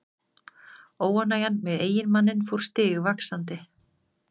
Óánægjan með eiginmanninn fór stigvaxandi.